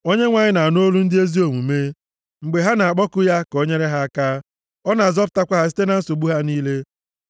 Onyenwe anyị na-anụ olu ndị ezi omume, mgbe ha na-akpọku ya ka o nyere ha aka; ọ na-azọpụtakwa ha site na nsogbu ha niile.